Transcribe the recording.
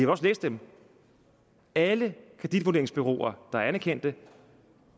også læse dem alle kreditvurderingsbureauer der er anerkendte